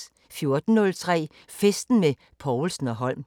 14:03: Festen med Povlsen & Holm